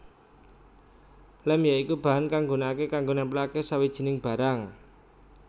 Lem ya iku bahan kang gunakake kanggo nempleake sawijining barang